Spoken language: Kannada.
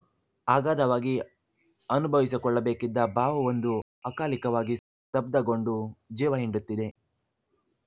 ಅಗಾಧವಾಗಿ ಅನುಭವಿಸಿಕೊಳ್ಳಬೇಕಿದ್ದ ಭಾವವೊಂದು ಅಕಾಲಿಕವಾಗಿ ಸ್ತಬ್ಧಗೊಂಡು ಜೀವ ಹಿಂಡುತ್ತಿದೆ